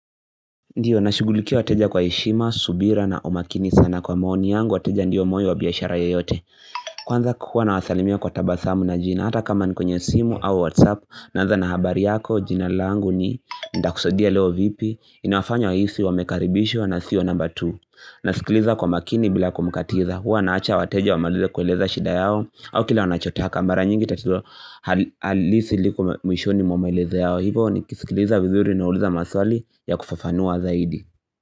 Ndio, nashughulikia wateja kwa heshima, subira na omakini sana kwa mooni yangu, wateja ndiyo moyo wa biashara yeyote Kwanza ku hua na wasalimia kwa tabasamu na jina, hata kama ni kwenye simu au whatsapp Nanza na habari yako, jina langu ni ntakusaidia leo vipi, inafanya wahisi wamekaribishwa na sio namba tu na sikiliza kwa makini bila kumkatiza, huwa naacha wateja wamalize kueleza shida yao au kila wanachotaka mara nyingi tatizo hal halisi liko m mwishoni mwa maelezo yao hivyo nikisikiliza vizuri nauliza maswali ya kufafanua zaidi.